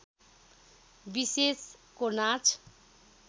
विशेषको नाच